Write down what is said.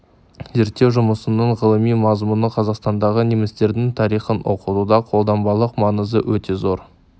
зерттеу жұмысының ғылыми мазмұны қазақстандағы немістердің тарихын оқытуда қолданбалық маңызы өте зор